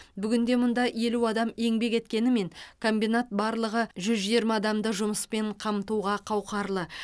бүгінде мұнда елу адам еңбек еткенімен комбинат барлығы жүз жиырма адамды жұмыспен қамтуға қауқарлы